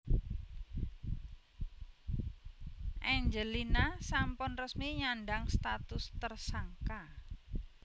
Angelina sampun resmi nyandhang status tersangka